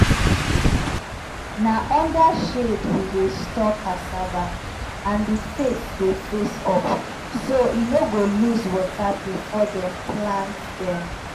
na under shade we dey store cassava and di face dey face up so e no go lose water before dem plant dem.